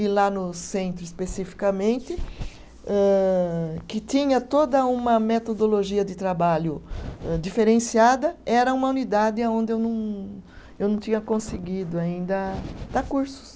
E lá no centro, especificamente, âh que tinha toda uma metodologia de trabalho diferenciada, era uma unidade aonde eu não, eu não tinha conseguido ainda dar cursos.